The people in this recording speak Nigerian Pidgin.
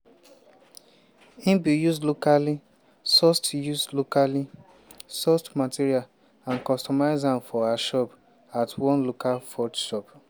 im bin use locally-sourced use locally-sourced materials and customise am for her needs at one local forge shop.